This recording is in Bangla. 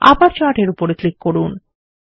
আবার চার্ট এর উপর ক্লিক করুন